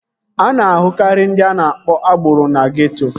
A na-ahụkarị ndị a na-akpọ agboro na geeto